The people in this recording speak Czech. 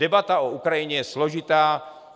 Debata o Ukrajině je složitá.